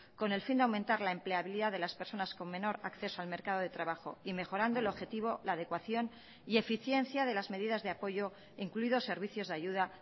con el fin de aumentar la empleabilidad de las personas con menor acceso al mercado de trabajo y mejorando el objetivo la adecuación y eficiencia de las medidas de apoyo incluidos servicios de ayuda